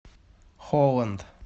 холланд